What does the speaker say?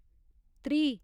त्रीह्